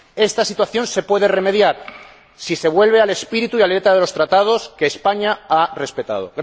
Esta situación se puede remediar si se vuelve al espíritu y a la letra de los Tratados, que España ha respetado.